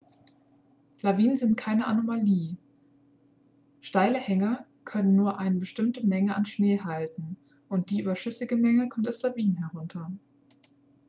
lawinen sind keine anomalie steile hänge können nur eine bestimmte menge an schnee halten und die überschüssige menge kommt als lawinen herunter